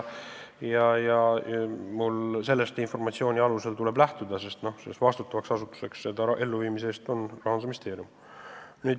Mul tuleb sellest informatsioonist lähtuda, sest selle ülesande elluviimise eest vastutav asutus on Rahandusministeerium.